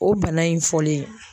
O bana in fɔlen.